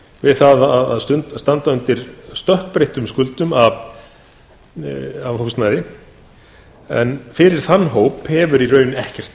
við það að standa undir stökkbreyttum skuldum af húsnæði en fyrir þann hóp hefur í raun ekkert